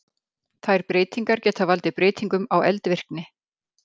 Þær breytingar geta valdið breytingum á eldvirkni.